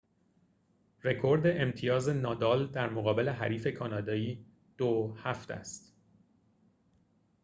رکورد امتیاز نادال در مقابل حریف کانادایی ۷-۲ است